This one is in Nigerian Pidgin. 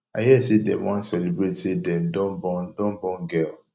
i hear say dem wan celebrate say dem don born don born girl